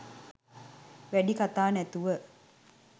වැඩි කතා නැතුව